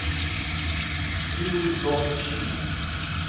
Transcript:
милый дом чии